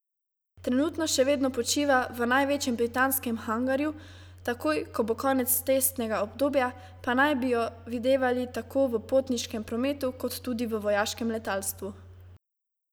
Trenutno še vedno počiva v največjem britanskem hangarju, takoj, ko bo konec testnega obdobja, pa naj bi jo videvali tako v potniškem prometu kot tudi v vojaškem letalstvu.